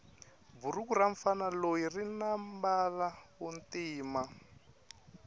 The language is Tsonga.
bhuruku ramufana loyi rinambala wontima